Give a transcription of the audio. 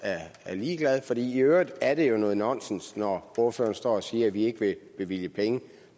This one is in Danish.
ligeglad for i øvrigt er det noget nonsens når ordføreren står og siger at vi ikke vil bevilge penge